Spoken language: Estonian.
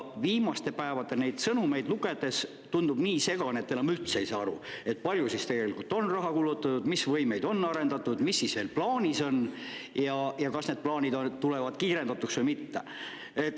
Viimaste päevade sõnumeid lugedes tundub nii segane, et enam üldse ei saa aru, palju siis tegelikult on raha kulutatud, mis võimeid on arendatud, mis veel plaanis on ja kas need plaanid tulevad kiirendatult või mitte.